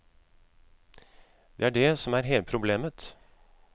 Det er det som er hele problemet.